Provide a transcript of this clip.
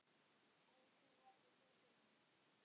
Að þú værir hetjan hans.